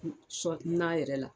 N sɔ na yɛrɛ la